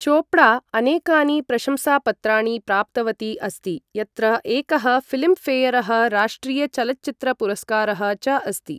चोपड़ा अनेकानि प्रशंसापत्राणि प्राप्तवती अस्ति, यत्र एकः फिल्मफेयरः, राष्ट्रियचलच्चित्रपुरस्कारः च अस्ति ।